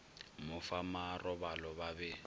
mo fa marobalo ba be